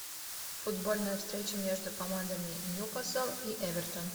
футбольная встреча между командами ньюкасл и эвертон